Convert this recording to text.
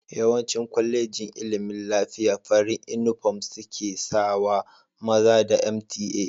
Yawancin kolejin ilimin lafiya farin inufom seka sawa, maza da mta